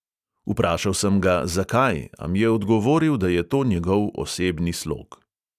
Vprašal sem ga, zakaj, a mi je odgovoril, da je to njegov osebni slog.